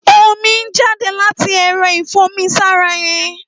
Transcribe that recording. Ómi n jàdé làtí ẹrọ ifùnmisàrá yèn